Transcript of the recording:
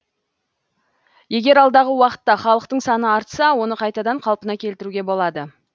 егер алдағы уақытта халықтың саны артса оны қайтадан қалпына келтіруге болады